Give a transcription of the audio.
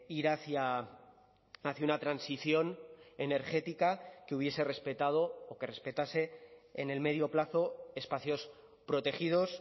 ir hacia una transición energética que hubiese respetado o que respetase en el medio plazo espacios protegidos